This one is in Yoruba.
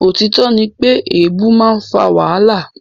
Òtítọ́ ní pé èèbu a máa fà wàhálà.